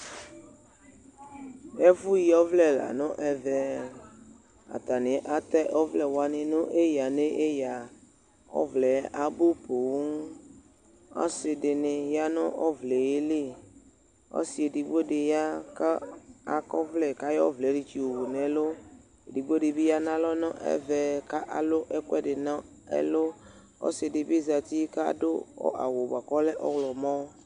Ɛfʋ yɩ ɔvlɛ la nʋ ɛvɛ Atanɩ atɛ ɔvlɛ wanɩ nʋ eyǝ nʋ eyǝ Ɔvlɛ yɛ abʋ poo Ɔsɩ dɩnɩ ya nʋ ɔvlɛ yɛ li Ɔsɩ edigbo dɩ ya kʋ akɔ ɔvlɛ, kʋ ayɔ ɔvlɛ yo wʋ nʋ ɛlʋ Edigbo dɩ bɩ ya nʋ alɔ nʋ ɛvɛ kʋ alʋ ɛkʋ ɛdɩ nʋ ɛlʋ Ɔsɩ dɩ bɩ zǝtɩ kʋ adʋ awʋ dɩ bʋakʋ ɔlɛ ɔɣlɔmɔ